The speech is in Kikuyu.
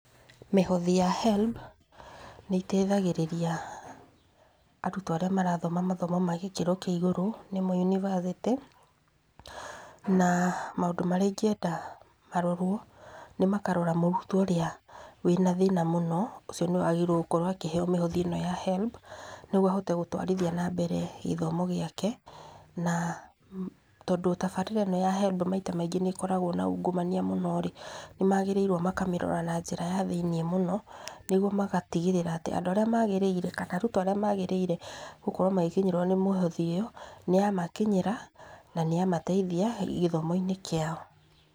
Mĩhothi ya HELB, nĩteithagĩrĩria, arutwo arĩa marathoma gĩthomo gĩa gĩkĩro kĩa igũrũ, nĩmo yunibacĩtĩ, na maũndũ marĩa ingĩenda marorwo, nĩ makarora mũrutwo ũrĩa, wĩ na thĩna muno, ũcio nĩwe agĩrĩirwo gũkorwo akĩheo mĩhothi ĩno ya HELB, nĩguo ahote gũtwarithia na mbere gĩthomo gĩake, na tondũ tabarĩra ĩno ya HELB maita maingĩ nĩkoragwo na ungumania mũno rĩ, nĩmagĩrĩirwo makamĩrora na njĩra ya thĩ-inĩ mũno, nĩguo magatigĩrĩra atĩ andũ arĩa magĩrĩire kana arutwo arĩa magĩrĩirwo gũkorwo magĩkinyĩrwo nĩ mĩhothi ĩyo, nĩyamakinyĩra na nĩyamateithia, gĩthomo-inĩ kĩao.